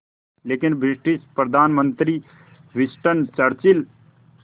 लेकिन ब्रिटिश प्रधानमंत्री Winston Churchill